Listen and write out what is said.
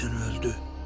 Deyəsən öldü.